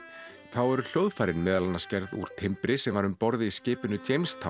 þá eru hljóðfærin meðal annars gerð úr timbri sem var um borð í skipinu